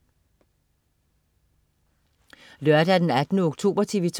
Lørdag den 18. oktober - TV 2: